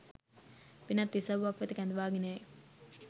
වෙනත් ඉසව්වක් වෙත කැඳවාගෙන යයි.